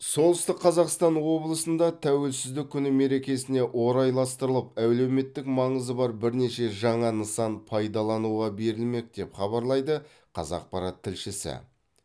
солтүстік қазақстан облысында тәуелсіздік күні мерекесіне орайластырылып әлеуметтік маңызы бар бірнеше жаңа нысан пайдалануға берілмек деп хабарлайды қазақпарат тілшісі